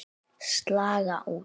Slaga út.